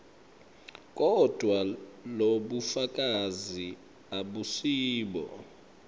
kodvwa lobufakazi abusibo